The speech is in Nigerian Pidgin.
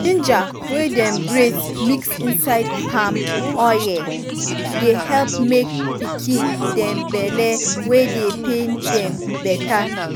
ginger wey dem grate mix inside palm oye dey help make pikin dem belle wey dey pain dem beta.